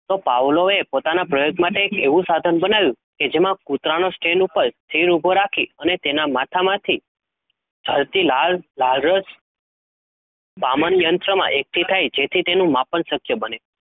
ભાવલોયે, પોતાના પ્ર્યોગ માટે એવું સાધન બનાવ્યું, કે જેમાં કુતરાને સ્ટેન ઉભો રાખી, તેના માંથા માંથી ચાલતી લાલ રસ સામાન્ય સમાય માપન સ્ક્ય બને,